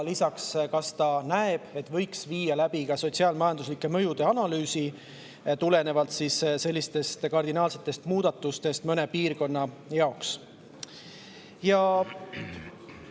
Lisaks, kas ta näeb, et võiks viia läbi sotsiaal-majanduslike mõjude analüüsi tulenevalt sellistest kardinaalsetest muudatustest mõne piirkonna jaoks?